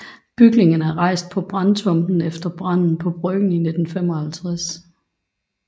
Bygningerne er rejst på brandtomten efter branden på Bryggen i 1955